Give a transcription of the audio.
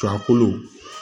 A kolo